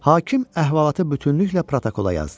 Hakim əhvalatı bütünlüklə protokola yazdı.